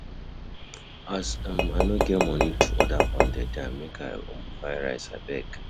As um I no get moni to order pounded yam, make I buy rice abeg.